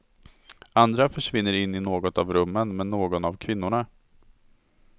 Andra försvinner in i något av rummen med någon av kvinnorna.